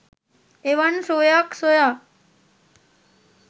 එවන් සුවයක් සොයා